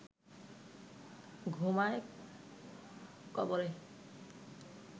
ঘুমায় কবরে